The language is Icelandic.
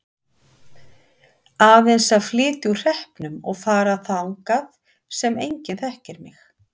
Aðeins að flytja úr hreppnum og fara þangað sem enginn þekkir mig.